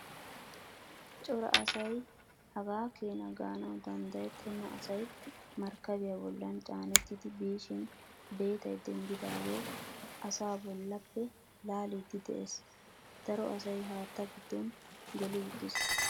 Cora asay hagaa keena gaanawu danddayettena asay markkabiyaa bollan caanetti biishin beetay denddidaagee asaa bollappe laaliidi de'ees. Daro asay haattaa giddo geli uttiis.